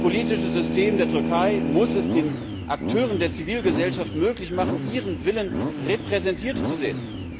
Das politische System der Türkei muss es den Akteuren der Zivilgesellschaft möglich machen, ihren Willen repräsentiert zu sehen.